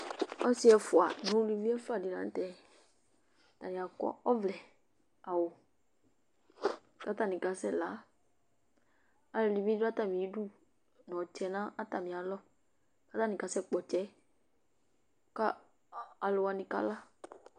Ɔsɩ ɛfʋa nʋ uluvi ɛfʋa dɩnɩ la nʋ tɛ Atanɩ akɔ ɔvlɛawʋ kʋ atanɩ kasɛla Alʋɛdɩnɩ bɩ dʋ atamɩdu nʋ ɔtsɛ nʋ atamɩ aɣla kʋ atanɩ kasɛkpɔ ɔtsɛ yɛ kʋ alʋ wanɩ kala